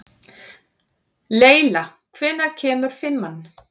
Leyla, hvenær kemur fimman?